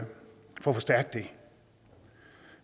forstærke det